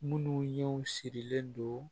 Minnu ye sirilen don